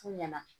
F'u ɲɛna